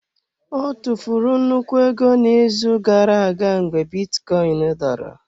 Ọ tụfuru nnukwu ego n'izu gara aga mgbe bitcoin dara.